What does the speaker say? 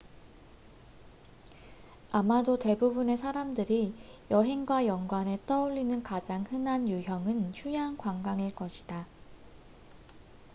아마도 대부분의 사람들이 여행과 연관해 떠올리는 가장 흔한 유형은 휴양 관광일 것이다